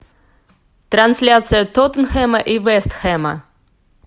трансляция тоттенхэма и вест хэма